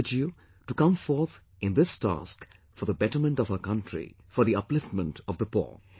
I urge you to come forth in this task for the betterment of our country, for the upliftment of the poor